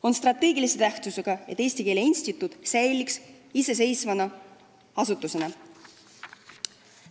On strateegilise tähtsusega, et Eesti Keele Instituut oleks edaspidigi iseseisev asutus.